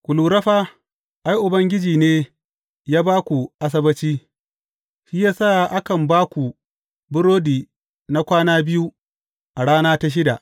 Ku lura fa, ai, Ubangiji ne ya ba ku Asabbaci; shi ya sa a kan ba ku burodi na kwana biyu, a rana ta shida.